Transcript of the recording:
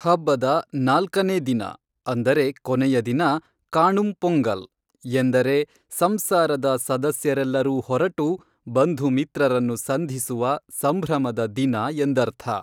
ಹಬ್ಬದ ನಾಲ್ಕನೇ ದಿನ ಅಂದರೆ ಕೊನೆಯದಿನ ಕಾಣುಂ ಪೊಂಗಲ್ ಎಂದರೆ ಸಂಸಾರದ ಸದಸ್ಯರೆಲ್ಲರೂ ಹೊರಟು ಬಂಧು ಮಿತ್ರರನ್ನು ಸಂಧಿಸುವ ಸಂಭ್ರಮದ ದಿನ ಎಂದರ್ಥ